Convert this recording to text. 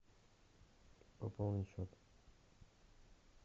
пополнить счет